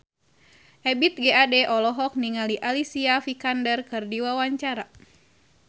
Ebith G. Ade olohok ningali Alicia Vikander keur diwawancara